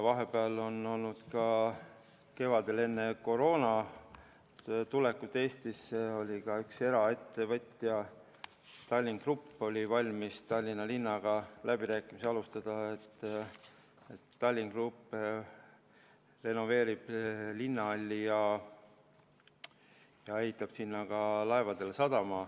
Vahepeal kevadel, enne koroona tulekut, oli Eestis ka üks eraettevõte, Tallink Grupp, kes oli valmis Tallinna linnaga läbirääkimisi alustama, et Tallink Grupp renoveerib linnahalli ja ehitab sinna ka laevadele sadama.